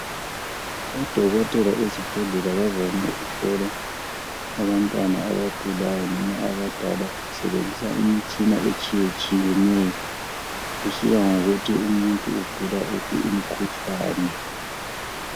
odokotela ezibhedlela bavame ukuhlola abantwana abagulayo loba abadala basebenzisa imitshina etshiyatshiyeneyo kusiya ngokuthi umuntu ugula wuphi umkhuhlane